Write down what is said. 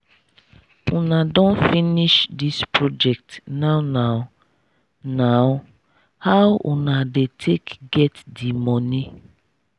una don finish this project now now? now? how una dey take get di money?